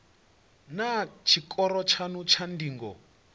naa tshikoro tshanu tsha ndingo